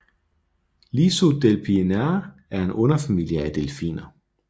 Lissodelphininae er en underfamilie af delfiner